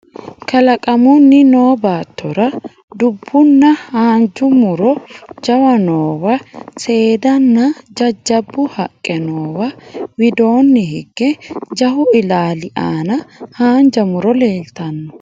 Kalaqamunni noo baattora dubbunna haanja muro jawa noowa Seeddaannanna jajjabbu haqqe noowa widoonni hige jawu ilaali aana haanja muro leeltanno